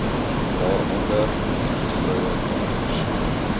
waaronder vroedvroue dokters